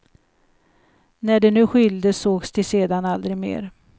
När de nu skildes, sågs de sedan aldrig mer.